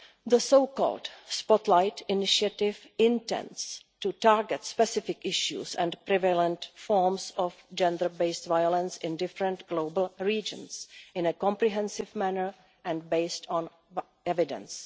The Spotlight Initiative' intends to target specific issues and prevalent forms of gender based violence in different global regions, in a comprehensive manner and on the basis of evidence.